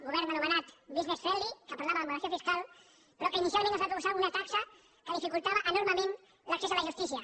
govern anomenat business friendly que parlava de moderació fiscal però que inicialment ens va proposar una taxa que dificultava enormement l’ac cés a la justícia